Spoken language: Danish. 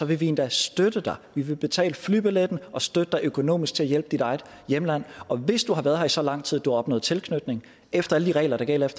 vi endda støtte dig vi vil betale flybilletten og støtte dig økonomisk til at hjælpe dit eget hjemland og hvis du har været her i så lang tid at du har opnået tilknytning efter alle de regler der gælder